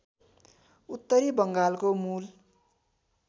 उत्तरी बङ्गालको मूल